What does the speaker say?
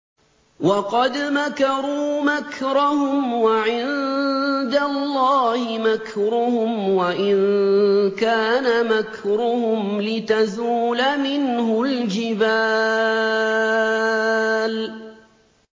وَقَدْ مَكَرُوا مَكْرَهُمْ وَعِندَ اللَّهِ مَكْرُهُمْ وَإِن كَانَ مَكْرُهُمْ لِتَزُولَ مِنْهُ الْجِبَالُ